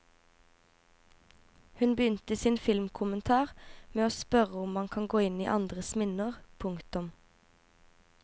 Hun begynte sin filmkommentar med å spørre om man kan gå inn i andres minner. punktum